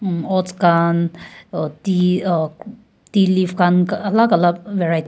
um oats kan tea tea leaves khan alak alak varie--